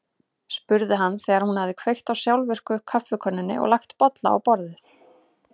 spurði hann þegar hún hafði kveikt á sjálfvirku kaffikönnunni og lagt bolla á borðið.